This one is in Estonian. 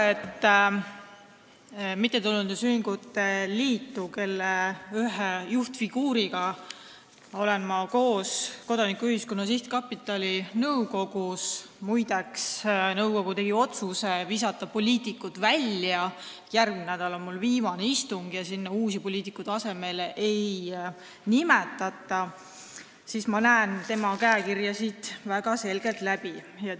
Ma olen mittetulundusühingute liidu ühe juhtfiguuriga koos Kodanikuühiskonna Sihtkapitali nõukogus – muide, nõukogu tegi otsuse poliitikud välja visata, järgmine nädal on mul viimane istung seal ja sinna uusi poliitikuid asemele ei nimetata – ja ma näen siin väga selgelt tema käekirja.